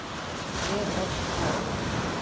Vel ort það.